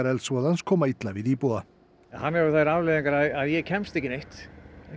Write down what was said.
eldsvoðans koma illa við íbúa hann hefur þær afleiðingar að ég kemst ekki neitt